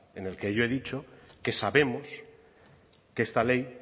en el que yo he dicho que sabemos que esta ley